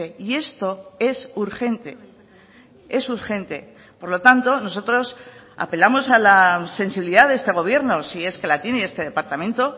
y esto es urgente es urgente por lo tanto nosotros apelamos a la sensibilidad de este gobierno sí es que la tiene este departamento